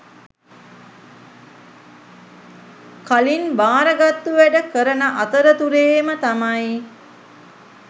කලින් භාරගත්තු වැඩ කරන අතරතුරේම තමයි